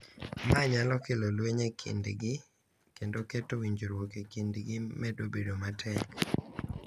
Ma nyalo kelo lweny e kindgi kendo keto winjruok e kindgi medo bedo matek.